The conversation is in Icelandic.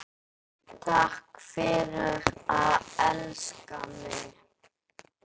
Takk fyrir að elska mig.